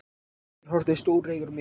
Hörður horfði stóreygur á mig.